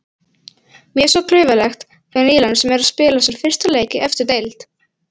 Mjög svo klaufalegt hjá nýliðanum sem er að spila sinn fyrsta leik í efstu deild.